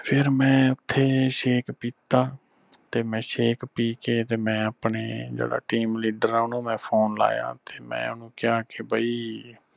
ਫਿਰ ਮੈਂ ਓਥੇ shake ਪੀਤਾ ਤੇ ਮੈਂ shake ਪੀ ਕੇ ਤੇ ਮੈਂ ਆਪਣੇ ਜਿਹੜਾ team leader ਆ ਉਹਨੂੰ ਮੈਂ phone ਲਾਇਆ ਓਥੇ ਮੈਂ ਓਹਨੂੰ ਕਿਹਾ ਕਿ ਬਈ